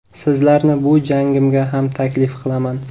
Sizlarni bu jangimga ham taklif qilaman.